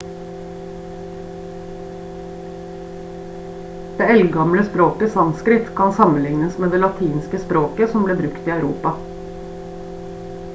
det eldgamle språket sanskrit kan sammenlignes med det latinske språket som ble brukt i europa